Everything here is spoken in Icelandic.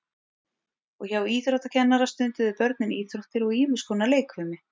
og hjá íþróttakennara stunduðu börnin íþróttir og ýmis konar leikfimi